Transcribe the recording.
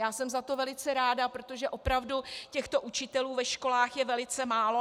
Já jsem za to velice ráda, protože opravdu těchto učitelů ve školách je velice málo.